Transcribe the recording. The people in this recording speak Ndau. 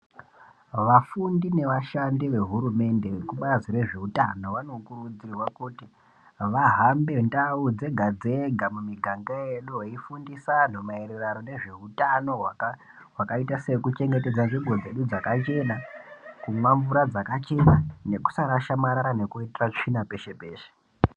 Vafundi nevashandi vehurumende vekubazi rezveutano vanokurudzirwa kuti vahambe ndau dzega dzega mumiganga yedu veifundisa anhu maererano nezveutano hwakaita sekuchengetedza nzvimbo dzedu dzakachena ,kumwa mvura dzakachena nekusa rasha marara nekuitira tsvina peshe-peshe.